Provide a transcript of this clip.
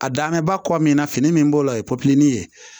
A danbe ba kɔ min na fini min b'o la o ye ye